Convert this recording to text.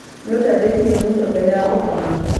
Nĩũtandĩkire muto mbere ya gũkoma?